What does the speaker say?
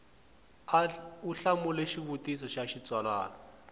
u hlamula xivutiso xa xitsalwana